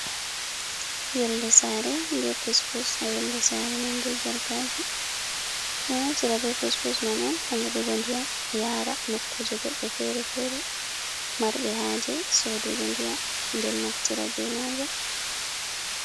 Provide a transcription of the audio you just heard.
Yolde saare be pus pus ha yolde saare man, be jarkaji, ɓe naftira be pus pus man on ha nyedugo ndiyam yara nokkuje goɗɗo fere-fere marɓe haje sodugo ndiyam nden naftira be Majaum.